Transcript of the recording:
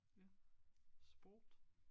Ja sport